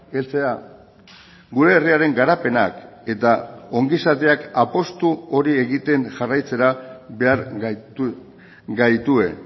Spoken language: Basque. heltzea gure herriaren garapenak eta ongizateak apustu hori egiten jarraitzera behar gaituen